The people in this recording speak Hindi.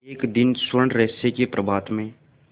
एक दिन स्वर्णरहस्य के प्रभात में